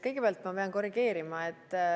Kõigepealt ma pean korrigeerima.